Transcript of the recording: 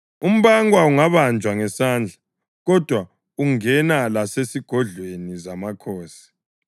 umbankwa ungabanjwa ngesandla, kodwa ungena lasezigodlweni zamakhosi.